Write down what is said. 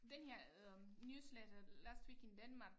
Den her øh newsletter Last Week in Denmark